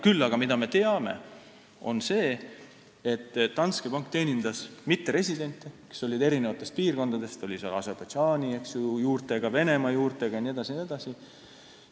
Küll aga teame, et Danske Bank teenindas mitteresidente, kes olid eri piirkondadest, näiteks Aserbaidžaani juurtega, Vene juurtega jne.